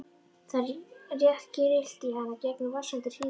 Það rétt grillti í hana gegnum vaxandi hríðarkófið.